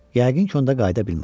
Yəqin ki, onda qayıda bilməz.